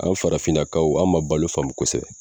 An farafinnakaw an ma balo faamu kosɛbɛ